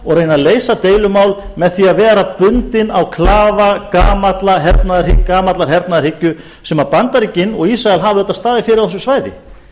og reyna að leysa deilumál með því að vera bundinn á klafa gamallar hernaðarhyggju sem bandaríkin og ísrael hafa auðvitað staðið fyrir á þessu svæði